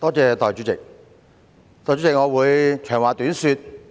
代理主席，我會長話短說。